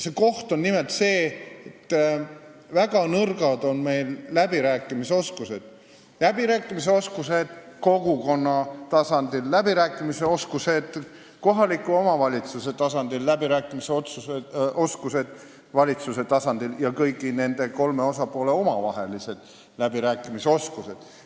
See koht on nimelt see, et meie läbirääkimisoskused on väga nõrgad, need on väga nõrgad kogukonna tasandil, kohaliku omavalitsuse tasandil, valitsuse tasandil ja kõigi nende kolme osapoole omavahelistel läbirääkimistel.